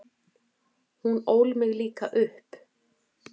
Hún ól mig líka upp.